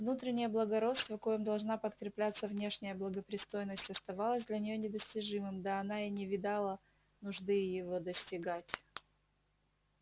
внутреннее благородство коим должна подкрепляться внешняя благопристойность оставалась для нее недостижимым да она и не видала нужды его достигать